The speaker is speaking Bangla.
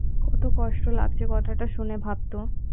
কত কষ্ট লাগছে কথা টা শুনে ভাবতো